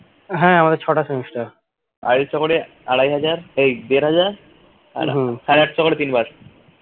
হ্যাঁ আমাদের ছটা semester আড়াইশো করে আড়াই হাজার এই দেড় হাজার আর সাড়ে আটশো করে তিনবার